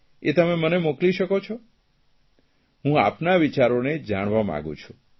એ તમે મને મોકલી શકો છો હું આપના વિચારોને જાણાવા માંગું છું